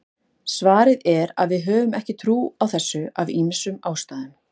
svarið er að við höfum ekki trú á þessu af ýmsum ástæðum